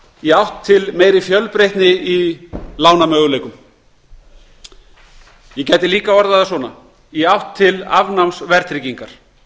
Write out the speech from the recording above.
í átt til meiri fjölbreytni í lánamöguleikum ég gæti líka orðað það svona í átt til afnáms verðtryggingar